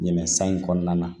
Ɲinɛ san in kɔnɔna na